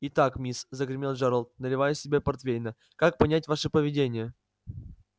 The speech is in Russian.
итак мисс загремел джералд наливая себе портвейна как понять ваше поведение